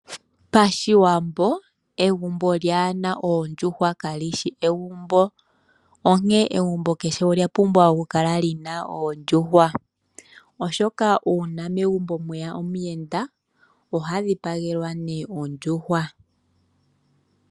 Pashiwambo egumbo lyaana oondjuhwa kali shi egumbo, onkene kehe egumbo olyapumbwa oondjuhwa, oshoka uuna megumbo mweya omuyenda ohadhipangelwa ondjuhwa.